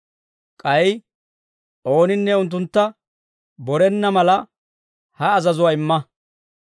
K'ay ooninne unttuntta borenna mala, ha azazuwaa imma.